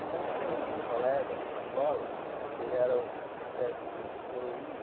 Então, eu tinha um um colega de escola que era espécie do coroinha,